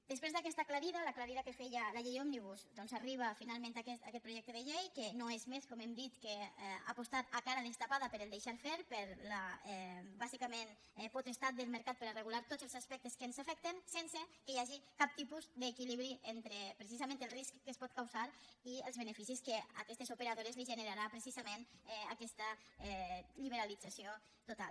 després d’aquesta aclarida l’aclarida que feia la llei òmnibus doncs arriba finalment aquest projecte de llei que no és més com hem dit que apostar a cara destapada pel deixar fer per la bàsicament potestat del mercat per a regular tots els aspectes que ens afecten sense que hi hagi cap tipus d’equilibri entre precisament el risc que es pot causar i els beneficis que a aquestes operadores els generarà precisament aquesta liberalització total